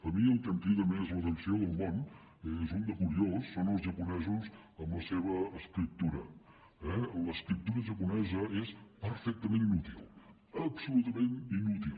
a mi el que em crida més l’atenció del món n’és un de curiós són els japonesos amb la seva escriptura eh l’escriptura japonesa és perfectament inútil absolutament inútil